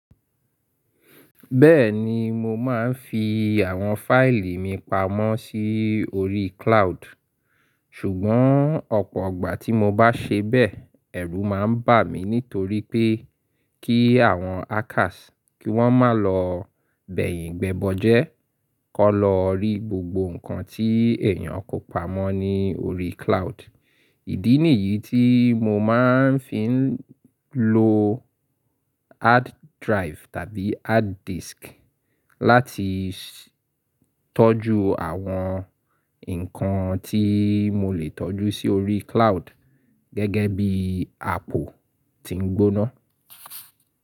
Bẹ́ẹ̀ni mo máa ń fi àwọn fáìlì mi pamọ́ sí orí cloud, ṣùgbọ́n ọ̀pọ̀ ọ̀gbà tí mo bá ṣe bẹ́ẹ̀, ẹ̀rù máa ń bà mí nítorí pé kí àwọn hackers kí wọ́n má lọ bẹ̀yìn gbẹbọjẹ́ kó lọ rí gbogbo ǹkan tí èèyàn kò pamọ́ ní orí cloud. Ìdí nìyí tí mo máa ń fi ń lo hard drive tàbí hard disk láti tọ́jú àwọn nǹkan tí mo lè tọ́jú sí orí cloud gẹ́gẹ́ bí apó tí ń gbóná.